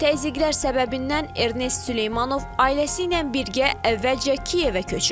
Təzyiqlər səbəbindən Ernest Süleymanov ailəsi ilə birgə əvvəlcə Kiyevə köçüb.